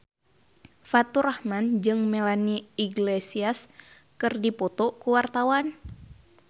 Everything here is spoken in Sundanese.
Faturrahman jeung Melanie Iglesias keur dipoto ku wartawan